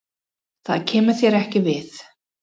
Það kemur þér ekki við.